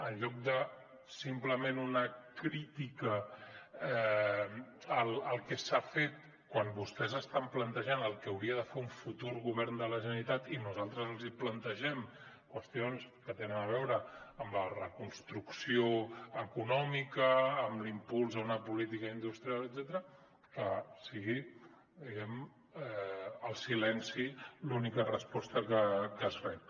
en lloc de simplement una crítica al que s’ha fet quan vostès estan plantejant el que hauria de fer un futur govern de la generalitat i nosaltres els plantegem qüestions que tenen a veure amb la reconstrucció econòmica amb l’impuls a una política industrial etcètera que sigui diguem ne el silenci l’única resposta que es rep